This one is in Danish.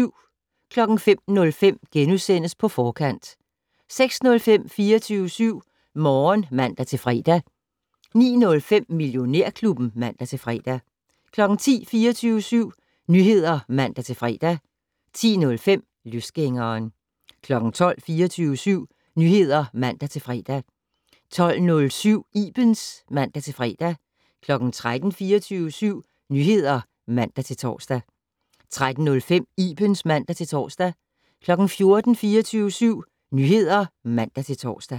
05:05: På Forkant * 06:05: 24syv Morgen (man-fre) 09:05: Millionærklubben (man-fre) 10:00: 24syv Nyheder (man-fre) 10:05: Løsgængeren 12:00: 24syv Nyheder (man-fre) 12:07: Ibens (man-fre) 13:00: 24syv Nyheder (man-tor) 13:05: Ibens (man-tor) 14:00: 24syv Nyheder (man-tor)